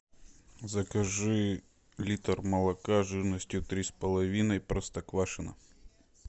закажи литр молока жирностью три с половиной простоквашино